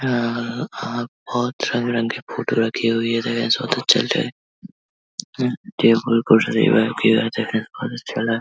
बोहोत रंग बिरंगी फोटो रखी हुई है। टेबल कुर्सी --